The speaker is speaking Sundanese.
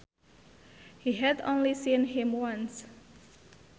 She had only seen him once